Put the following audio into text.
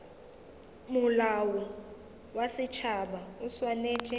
molao wa setšhaba o swanetše